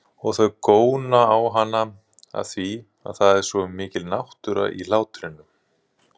Og þau góna á hana afþvíað það er svo mikil náttúra í hlátrinum.